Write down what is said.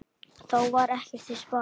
Þá var ekkert til sparað.